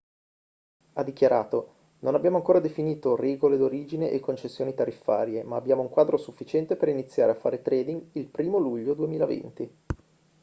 ha dichiarato non abbiamo ancora definito regole d'origine e concessioni tariffarie ma abbiamo un quadro sufficiente per iniziare a fare trading il 1° luglio 2020